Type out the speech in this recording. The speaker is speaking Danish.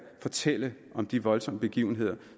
fortælle om de voldsomme begivenheder